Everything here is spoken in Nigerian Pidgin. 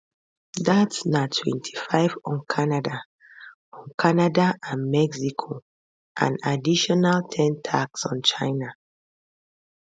dat na 25 on canada on canada and mexico and additional ten tax on china